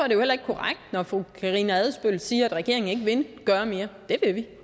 jo heller ikke korrekt når fru karina adsbøl siger at regeringen ikke vil gøre mere det vil vi